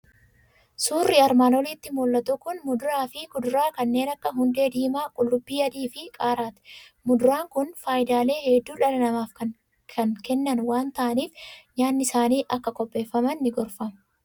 Suurri armaan olitti mul'atu kun muduraa fi kuduraa kanneen akka hundee diimaa, qullubbii adii fi qaaraati. Muduraan kun faayidaalee hedduu dhala namaaf kan kennan waan ta'aniif, nyaatni isaaniin akka qopheeffaman ni gorfama.